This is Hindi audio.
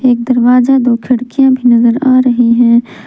एक दरवाजा दो खिड़कियां भी नजर आ रही हैं।